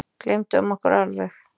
Gleymdum okkur alveg.